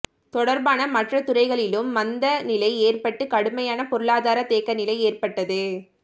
தொடர்பான மற்ற துறைகளிலும் மந்த நிலை ஏற்பட்டு கடுமையான பொருளாதார தேக்க நிலை ஏற்பட்டது